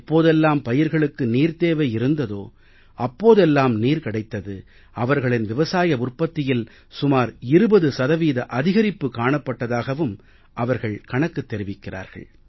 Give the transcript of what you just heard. எப்போதெல்லாம் பயிர்களுக்கு நீர்த் தேவை இருந்ததோ அப்போதெல்லாம் நீர் கிடைத்தது அவர்களின் விவசாய உற்பத்தியில் சுமார் 20 சதவீத அதிகரிப்பு காணப்பட்டதாகவும் அவர்கள் கணக்குத் தெரிவிக்கிறார்கள்